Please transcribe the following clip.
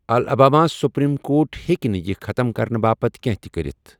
Alabama supreme court ہٮ۪کہِ نہٕ یہِ ختٕم کرنہٕ باپتھ کینٛہہ تہِ کٔرِتھ۔